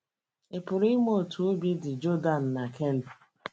Ị̀ pụrụ ịma otú obi dị Jordan na Kelly?